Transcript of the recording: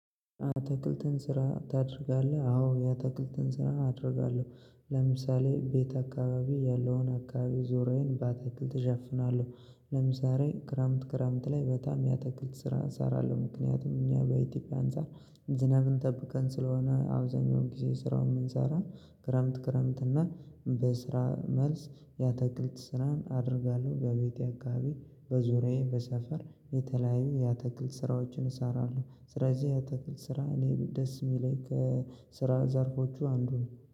አትክልትን ስራ ታደርጋለህ? አዎ አትክልትን ስራ አደርጋለሁ ለምሳሌ ቤት አካባቢ ያለውን አካባቢ ዙሪያዬን በአትክልት እሸፍናለሁ ለምሳሌ ክረምት ክረምት ላይ በጣም የአትክልት ስራ እሰራለሁ ምክንያቱም እኛ በኢትዮጵያ አንፃር ዝናብን ጠብቀን ስለሆነ አብዛኛው ጊዜ ስራውን የምንሰራ ክረምት ክረምት እና በስራ መልስ የአተክልት ስራን አደርጋለሁ በቤቴ አካባቢ በዙሪያዬ በሰፈር የተለያዩ የአትክል ስራዎችን እሰራለሁ ስለዚህ የአትክልት ስራ እኔ ደስ የሚለኝ ስራ ዘርፎቹ አንዱ ነው።